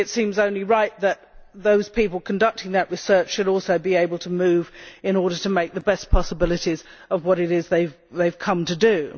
It seems only right that those people conducting that research should also be able to move in order to make the most of the possibilities of what it is they have come to do.